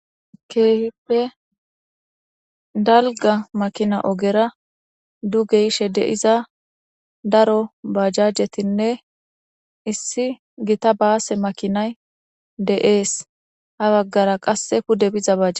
Keehippe dalgga makina ogera duge yiza daro bajajetinne issi gita baase makinay de'es ha baggara qasse pude biza baja...